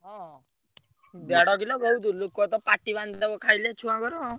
ହଁ ଦେଢ କିଲ ବହୁତ ଲିକ ତ ପାଟି ବାନ୍ଧିଦବ ଖାଇଲେ ଛୁଆଙ୍କର।